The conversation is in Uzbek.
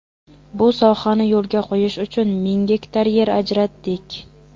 Bu sohani yo‘lga qo‘yish uchun ming gektar yer ajratdik.